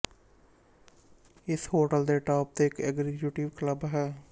ਇਸ ਹੋਟਲ ਦੇ ਟੋਪ ਤੇ ਇੱਕ ਏਗ੍ਜੀਕੁਟਿਵੇ ਕਲਬ ਵੀ ਹੈ